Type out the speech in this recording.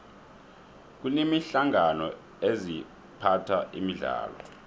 kuneenhlangano eziphatha imidlalo